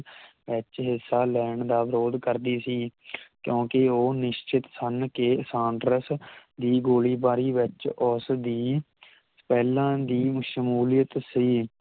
H ਐੱਸ ਆਰ ਲੈਂਡ ਦਾ ਵਿਰੋਧ ਕਰਦੀ ਸੀ ਕਿਓਂਕਿ ਉਹ ਨਿਸ਼ਚਿਤ ਸੰਨ ਕੇ ਸਾੰਕਰੈੱਸ ਦੀ ਗੋਲੀਬਾਰੀ ਵਿਚ ਉਸ ਦੀ ਪਹਿਲਾਂ ਦੀ ਮਸ਼ਮੂਲਿਯਤ ਸੀ